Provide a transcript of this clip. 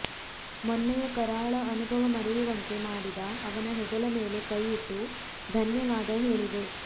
ಮೊನ್ನೆಯ ಕರಾಳ ಅನುಭವ ಮರೆಯುವಂತೆ ಮಾಡಿದ ಅವನ ಹೆಗಲ ಮೇಲೆ ಕೈ ಇಟ್ಟು ಧನ್ಯವಾದ ಹೇಳಿದೆ